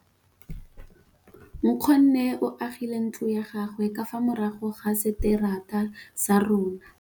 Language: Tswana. Nkgonne o agile ntlo ya gagwe ka fa morago ga seterata sa rona.